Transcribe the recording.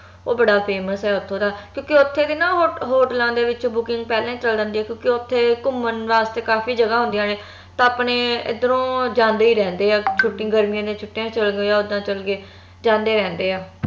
ਓਹ ਬੜਾ famous ਆ ਓਥੋਂ ਦਾ ਕਿਉਂਕਿ ਓਥੇ ਦੇ ਹੋਟਲਾਂ ਦੇ ਵਿਚ booking ਪਹਿਲਾ ਹੀ ਚਲ ਜਾਂਦੀ ਆ ਕਿਉਂਕਿ ਓਥੇ ਘੁੰਮਣ ਵਾਸਤੇ ਕਾਫੀ ਜਗਾ ਹੁੰਦੀਆਂ ਤਾ ਆਪਣੇ ਇਧਰੋ ਜਾਂਦੇ ਹੀ ਰਹਿੰਦੇ ਆ ਛੁੱਟੀ ਗਰਮੀ ਦੀਆ ਛੁੱਟੀਆਂ ਚ ਚੱਲ ਜਾਓ ਯਾ ਉੱਦਾਂ ਹੀ ਚਲ ਗਏ ਜਾਂਦੇ ਰਹਿੰਦੇ ਆ